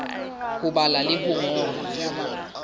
ho bala le ho ngola